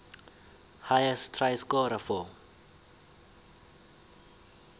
highest try scorer for